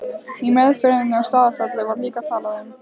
Í meðferðinni á Staðarfelli var líka talað um